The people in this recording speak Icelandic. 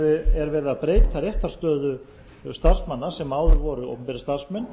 er verið að breyta réttarstöðu starfsmanna sem áður voru opinberir starfsmenn